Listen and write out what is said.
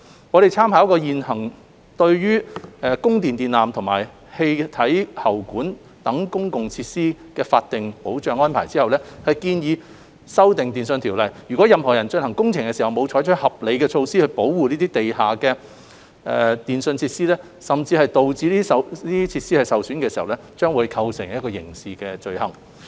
我們參考現行對供電電纜及氣體喉管等公共設施的法定保障安排後，建議修訂《電訊條例》，若有任何人進行工程時沒有採取合理措施保護地下電訊設施，甚至導致設施受損，將會構成刑事罪行。